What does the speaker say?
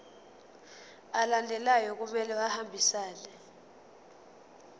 alandelayo kumele ahambisane